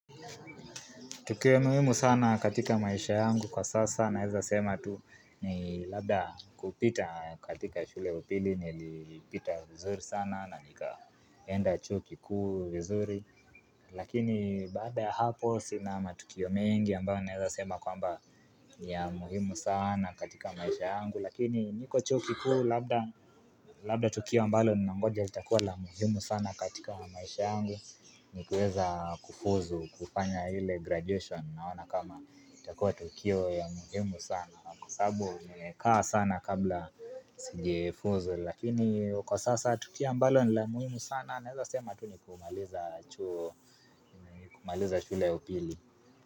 Kitu ya muhimu sana katika maisha yangu kwa sasa naweza sema tu ni labda kupita katika shule upili nilipita vizuri sana na nika enda chuo kikuu vizuri. Lakini baada hapo sina matukio mengi ambayo naweza sema kwamba ni ya muhimu sana katika maisha yangu. Lakini niko chuo kikuu labda tukio ambalo ninangoja litakuwa la muhimu sana katika maisha yangu. Ni kuweza kufuzu kufanya ile graduation naona kama itakuwa tukio ya muhimu sana na kwa sababu nimekaa sana kabla sigefuzu lakini kwa sasa tukio ambalo nila muhimu sana naweza sema tu ni kumaliza chuo kumaliza shule ya upili.